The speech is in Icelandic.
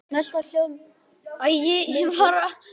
Svava er ættuð úr Kjósinni og af Kjalarnesi.